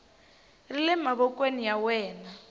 ri le mavokweni ya wena